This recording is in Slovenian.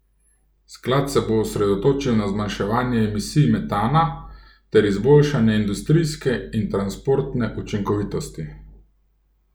Sklad se bo osredotočil na zmanjševanje emisij metana ter izboljšanje industrijske in transportne učinkovitosti.